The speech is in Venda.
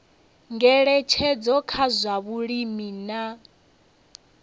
ngeletshedzo kha zwa vhulimi na